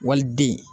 Waliden